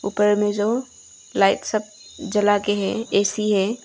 उपर में जो लाइट सब जला के है ए_सी है।